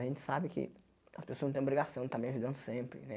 A gente sabe que as pessoas não tem obrigação de estar me ajudando sempre, né?